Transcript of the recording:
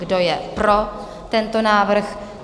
Kdo je pro tento návrh?